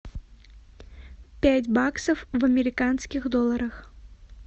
пять баксов в американских долларах